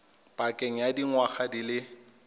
pakeng ya dingwaga di le